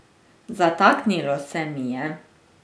Zataknilo se mi je.